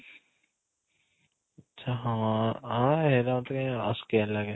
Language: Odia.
ଆଚ୍ଛା ହଁ ଅଂ ସେୟା କାଇଁ ଅସ୍କିଆ ଲାଗେ